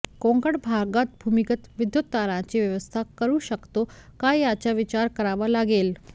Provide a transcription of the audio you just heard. कोकण भागात भूमिगत विद्युत तारांची व्यवस्था करू शकतो का याचा विचार करावा लागेल